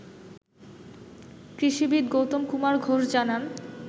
কৃষিবিদ গৌতম কুমার ঘোষ জানান